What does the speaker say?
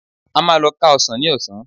A máa lọ ká ọsàn ní ọ̀sán